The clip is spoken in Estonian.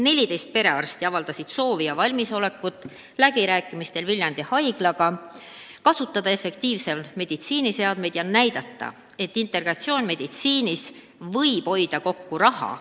14 perearsti avaldasid läbirääkimistel haiglaga valmisolekut kasutada efektiivselt meditsiiniseadmeid ja näidata, et integratsioon võimaldab raha kokku hoida.